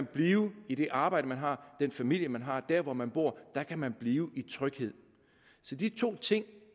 blive i det arbejde man har den familie man har der hvor man bor der kan man blive i tryghed så de to ting